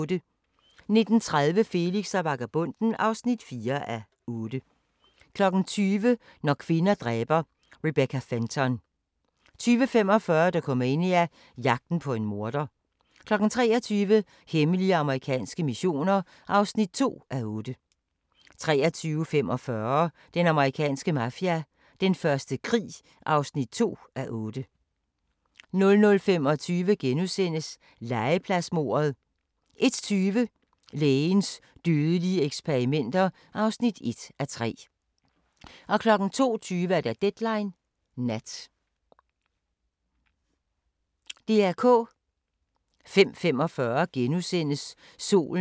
12:05: Dahlgårds Tivoli (3:8) 12:35: Hele Danmarks lille Pusle 12:50: Danske Mad Men: Fede tider i reklamebranchen * 13:20: Danske Mad Men: Fede tider i reklamebranchen (Afs. 1) 13:50: Hvornår var det nu, det var? * 14:20: Hvornår var det nu, det var? 14:50: Store danskere - Per Hækkerup * 15:30: Store danskere - Liva Weel 16:10: Dronning Ingrids børnebørn (5:5)* 16:40: Dagbog fra Woodstock - fredag (1:3)*